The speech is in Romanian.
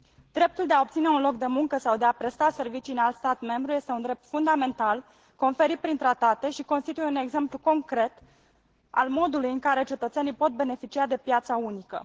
Dreptul de a obține un loc de muncă sau de a presta servicii în alt stat membru este un drept fundamental, conferit prin tratate, și constituie un exemplu concret al modului în care cetățenii pot beneficia de piața unică.